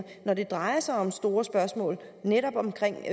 når det drejer sig om store spørgsmål netop omkring